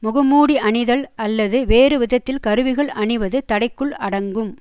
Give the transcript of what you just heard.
முகமூடி அணிதல் அல்லது வேறு விதத்தில் கருவிகள் அணிவது தடைக்குள் அடங்கும்